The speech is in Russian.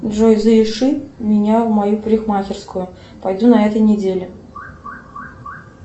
джой запиши меня в мою парикмахерскую пойду на этой неделе